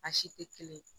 A si tɛ kelen ye